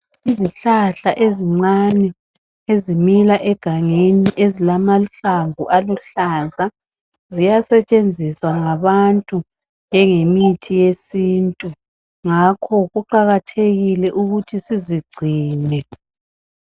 Izihlahla ezincane ezimila egangeni ezilamahlamvu aluhlaza, ziyasetshenziswa ngabantu njengemithi yesintu ngakho kuqakathekile ukuthi sizigcine